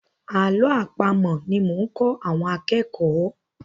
Àlọ́ àpamọ̀ ni mò ń kọ́ àwọn akẹ́kọ̀ọ́.